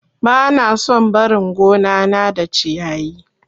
Bana son barin gonana da ciyayi.